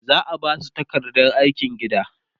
za'a Basu takardar aikin gida